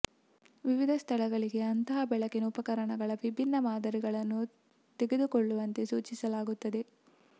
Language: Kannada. ವಿವಿಧ ಸ್ಥಳಗಳಿಗೆ ಅಂತಹ ಬೆಳಕಿನ ಉಪಕರಣಗಳ ವಿಭಿನ್ನ ಮಾದರಿಗಳನ್ನು ತೆಗೆದುಕೊಳ್ಳುವಂತೆ ಸೂಚಿಸಲಾಗುತ್ತದೆ